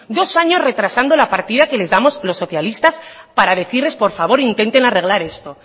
dos años retrasando la partida que les damos los socialistas para decirles por favor intenten arreglar esto